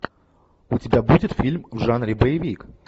у тебя будет фильм в жанре боевик